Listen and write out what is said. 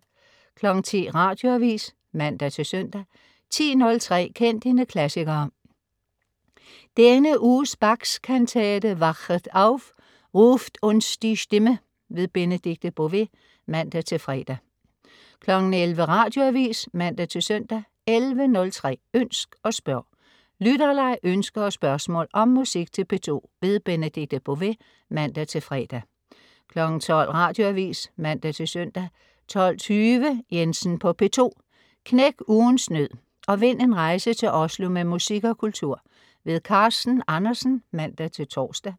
10.00 Radioavis (man-søn) 10.03 Kend dine klassikere. Denne uge Bachs kantate Wachet auf, ruft uns die Stimme. Benedikte Bové (man-fre) 11.00 Radioavis (man-søn) 11.03 Ønsk og spørg. Lytterleg, ønsker og spørgsmål om musik til P2. Benedikte Bové (man-fre) 12.00 Radioavis (man-søn) 12.20 Jensen på P2. Knæk ugens nød og vind en rejse til Oslo med musik og kultur. Carsten Andersen (man-tors)